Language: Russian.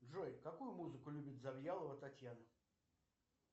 джой какую музыку любит завьялова татьяна